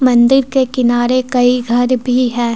मंदिर के किनारे कई घर भी है।